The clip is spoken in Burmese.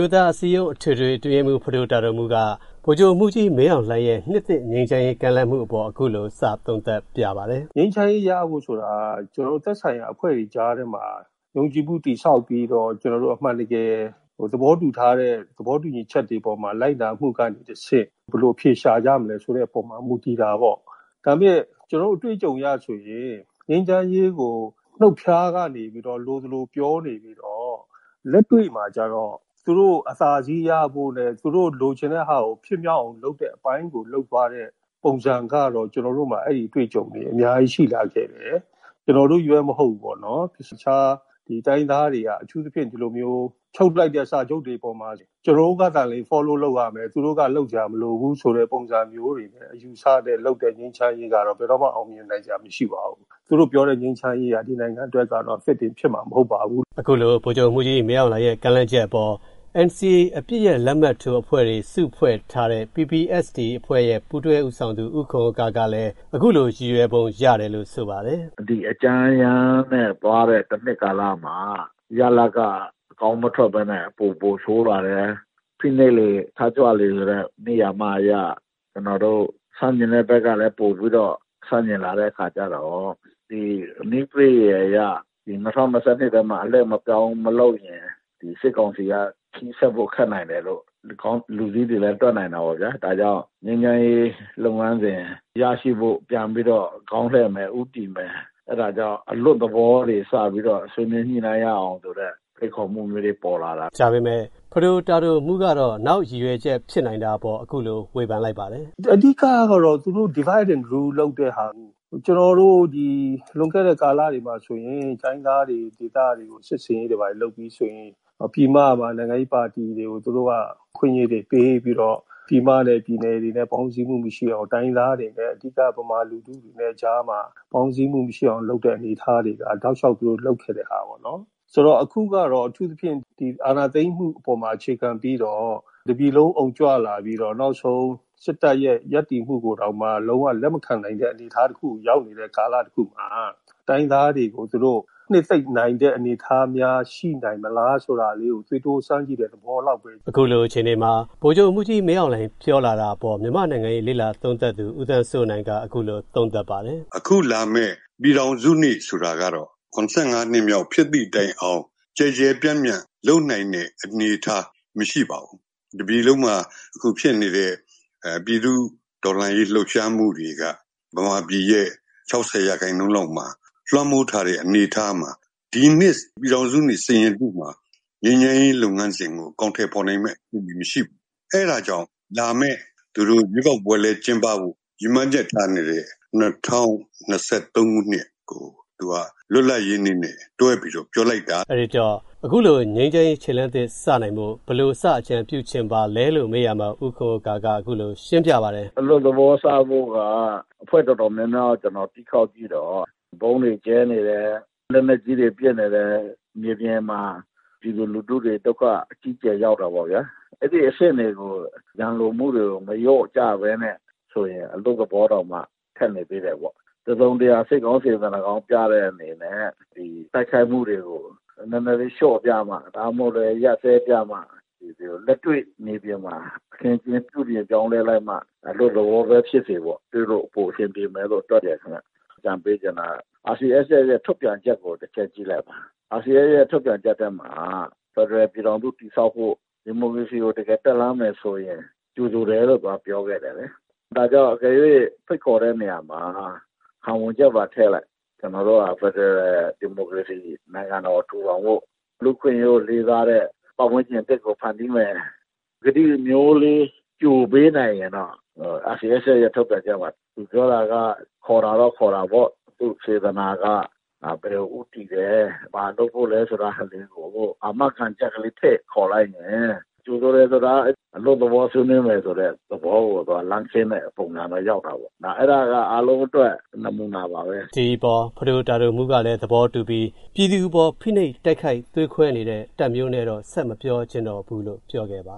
ိုးသားအစည်းအရုံး KNU အထွေထွေအတွင်းရေးမှူး ဖဒိုတာဒိုမှူး က ဗိုလ်ချုပ်မှူးကြီး မင်းအောင်လှိုင် ရဲ့ နှစ်သစ်ငြိမ်းချမ်းရေးကမ်းလှမ်းမှုကို အခုလိုစသုံးသပ်ပြပါတယ်။ ဖဒိုတာဒိုမှူး ။. ။ ငြိမ်းချမ်းရေးရတဲ့ဟာက ကျနော်တို့ သက်ဆိုင်ရာအဖွဲ့အစည်းတွေကြားမှာ တည်ဆောက်ပြီး ကျနော်တို့အမှန်တကယ် သဘောတူညီထားတဲ့ သဘောတူညီချက်တွေကို လိုက်နာမှုကတဆင့် ဘယ်လိုရှာကြမလဲဆိုတာက မူတည်တာပေါ့။ ကျနော်တို့အတွေ့အကြုံအရဆိုရင် ငြိမ်းချမ်းရေးကို နုတ်ဖျားကနေ လိုသလိုပြောနေပြီးတော့ လက်တွေ့မှာတော့ သူတို့အသာစီးရဖို့နဲ့ သူတို့လိုချင်တာဟာကို ဖြစ်မြောက်အောင်လုပ်တဲ့အပိုင်းကိုလုပ်သွားတဲ့ ပုံစံကတော့ ကျနော်တို့မှာ အဲဒီအတွေ့အကြုံတွေ အများကြီးရှိထားတယ်။ ကျနော်တို့ချည်းမဟုတ်ပဲ တခြားတိုင်းရင်းသားတွေကကော အထူးသဖြင့် ချုပ်သမျှ စာချုပ်တွေမှာ ကျနော်တို့ဖက်ကသာလျှင် Follow လုပ်ရမယ်။ သူတို့ဖက်က လုပ်စရာမလိုဘူးဆိုပြီးလုပ်တဲ့ ငြိမ်းချမ်းရေးကတော့ ဘယ်တော့မှ အောင်မြင်နိုင်စရာမရှိပါဘူး။ သူတို့ပြောတဲ့ငြိမ်းချမ်းရေးကတော့ ဒီနိုင်ငံအတွက်ကတော့ လက်တွေ့ဖြစ်မှာမဟုတ်ပါဘူး။ ကိုဝင်းမင်း ။. ။ အခုလို ဗိုလ်ချုပ်မှူးကြီး မင်းအောင်လှိုင် ရဲ့ ငြိမ်းချမ်းရေးအပေါ် NCA အပစ်ရပ်လက်မှတ်ထိုးထားတဲ့အဖွဲ့တွေ PPST အဖွဲ့ရဲ့ ပူးတွဲဦးဆောင်သူ ဦးခွန်ဥက္ကာကလည်း အခုလိုရည်ရွယ်ပုံရတယ်လို့ဆိုပါတယ်။ ဦးခွန်ဥက္ကာ ။. ။ ဒီအကြမ်းအရမ်းနဲ့ သွားတဲ့ တနှစ်ကာလမှာ ရလဒ်က အကောင်းမထွက်ပဲနဲ့ ပိုပိုဆိုးလာတယ်။ ဖိနိုပ်လေ ထကြွလေဆိုတဲ့ နိယာမအရ ဆန်ကျင်တဲ့ဖက်ကလည်း ပိုပြီးတော့ ဆန့်ကျင်လာတဲ့အခါကြတော့ နည်းပရိယယ်အရ ၂ဝ၂၂ ထဲမှာ အလှည့်အပြောင်းမလုပ်ရင် စစ်ကောင်စီက ဆက်ဖို့ခက်နိုင်တယ်လို့ လူကြီးတွေလည်း တွက်နိုင်တာပေါ့ဗျာ။ ဒါကြောင့်ငြိမ်းချမ်းရေးလုပ်ငန်းစဉ် ခေါင်းလှည့်မယ် ဦးတည်မယ် အဲဒါကြောင့်အလွတ်သဘောတွေစတင်မယ် ဆွေးနွေးညှိနှိုင်းရအောင်ဆိုတဲ့ ဖိတ်ခေါ်မှုမျိုးတွေပေါ်လာတာ။ ကိုဝင်းမင်း ။. ။ ဒါပေမယ့် ဖဒိုတာဒိုမှူး ကတော့ နောက်ရည်ရွယ်ချက်ဖြစ်နိုင်တာအပေါ် အခုလိုဝေဖန်လိုက်ပါတယ်။ ဖဒိုတာဒိုမှူး ။. ။ အဓိက ကတော့ သူတို့ Divided and Rule လုပ်တာ ကျနော်တို့ လွန်ခဲ့တဲ့ကာလတွေ တိုင်းရင်းသားဒေသတွေမှာ စစ်ဆင်ရေးလုပ်မယ်ဆိုရင် ပြည်မမှာ နိုင်ငံရေးပါတီတွေကို သူတို့က အခွင့်အရေးတွေပေးပြီးတော့ ပြည်မနဲ့ ပြည်နယ်တွေနဲ့ ပေါင်းစည်းမှုမရှိအောင် အဓိက ဗမာလူထု့တွေနဲ့ ပေါင်းပြီးတော့ တိုင်းရင်းသားတွေနဲ့ မပေါင်းနိုင်အောင်လုပ်တာက တောက်လျှောက်လုပ်ခဲ့တာပေါ့။ အခုကတော့ အထူးသဖြင့် အာဏာသိမ်းမှုအပေါ်အခြေခံပြီးတော့ တပြည်လုံး အုံကြွလာပြီးတော့ နောက်ဆုံး စစ်တပ်ကို လက်မခံနိုင်တဲ့အနေအထားတခုမှာ တိုင်းရင်းသားတွေကို သူတို့နှစ်သိပ်နိုင်တဲ့အနေအထားများရှိသလားဆိုတာ သွေးတိုးစမ်းကြည့်တဲ့သဘောလောက်ပဲဖြစ်ပါတယ်။ ကိုဝင်းမင်း ။. ။ ဗိုလ်ချုပ်မှူးကြီး မင်းအောင်လှိုင်ပြောတာအပေါ် မြန်မာနိုင်ငံရေးလေ့လာသူ ဦးသန်းစိုးနိုင် က အခုလိုသုံးသပ်ပါတယ်။ ဦးသန်းစိုးနိုင် ။. ။ အခုလာမယ့် ပြည်ထောင်စုနေ့ဆိုတာက ၇၅ နှစ်ပြည့်တဲ့တိုင်အောင် ကျယ်ကျယ်ပြန့်ပြန့်လုပ်နိုင်တဲ့အနေအထားမရှိပါဘူး။ တပြည်လုံးမှာဖြစ်နေတဲ့ ပြည်သူတော်လှန်ရေးလှုပ်ရှားမှုတွေက ဗမာပြည်ရဲ့ ၆၀ ရာခိုင်နှုန်းလောက်မှာ လွှမ်းမိုးထားတဲ့အနေအထားမှာ ဒီနှစ် ပြည်ထောင်စုနေ့ စိန်ရတု့မှာ ငြိမ်းချမ်းရေးလုပ်ငန်းစဉ်ကို အကောင်ထည်ဖော်နိုင်မယ့်အနေအထားမရှိပါဘူး။ အဲဒါကြောင့် လာမယ့် ရွေးကောက်ပွဲကျင်းပမယ့် ၂ဝ၂၃ ခုနှစ်ကို လွတ်လပ်ရေးနေ့နဲ့ တွဲပြီးပြောလိုက်တာ။ ကိုဝင်းမင်း ။.။ အခုလိုငြိမ်းချမ်းရေးလုပ်ငန်းစဉ်ကို. ဘယ်လိုစချင်ပါသလဲလို့ မေးရာမှာ ဦးခွန်ဥက္ကာက ဦးခွန်ဥက္ကာ ။. ။ အလွတ်သဘောစဖို့က အဖွဲ့အတော်များများ ကျနော်တီးခေါက်ကြည့်ရာမှာ ဗုံးတွေကြဲနေတယ်။ လက်နက်ကြီးတွေပစ်နေတယ်။ ပြည်သူတွေဒုက္ခရောက်တာပေါ့ဗျာ။ ရန်လိုမှုများနေတယ်။ တစုံတရာ စိတ်ကောင်းပြတဲ့အနေနဲ့ တိုက်ခိုက်မှုတွေကို လျှော့ပြမှ ဒါမှမဟုတ် ရပ်စဲပြမှ။ လက်တွေ့မြေပြင်မှာ ပြုပြင်ပြမှ အလွတ်သလောတွေ့ရမယ်လို့တွက်တယ်ဗျ။ အကြံပေးချင်တာက RCSS ထုတ်ပြန်ချက်ကို တချက်ကြည့်လိုက်ပါ။ ဖက်ဒရယ်ပြည်ထောင်စုတည်ဆောက်ဖို့၊ ဒီမိုကရေစီကို တကယ်တက်လှမ်းဖို့ ဆိုရင် ကြိုဆိုတယ်လို့ သူပြောခဲ့တယ်လေ။ ဒါကြောင့် ဖိတ်ခေါ်တဲ့နေရာမှာ ခံဝန်ချက်ပါထဲ့လိုက်။ ကျနော်တို့ ဖက်ဒရယ် နဲ့ ဒီမိုကရေစီကို နိုင်ငံကို တည်ထောင်မယ် လူအခွင့်အရေးကို သွားမယ်ဆိုတာ။ အာမခံချက်ထဲ့ခေါ်လိုက်ရင် ကောင်းပါတယ်။ ကိုဝင်းမင်း ။. ။ ဒီအပေါ်မှာ ဖဒိုတာဒိုမှူး ကလည်း ကြိုဆိုလိုက်ပြီး ပြည်သူအပေါ် ဖိနိုပ်တဲ့ တပ်မျိုးနဲ့ တော့ ဆက်ပြီး မပြောတော့ဘူးလို့ပြောခဲ့ပါ